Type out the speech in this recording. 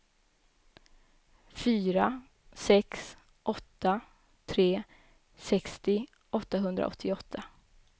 fyra sex åtta tre sextio åttahundraåttioåtta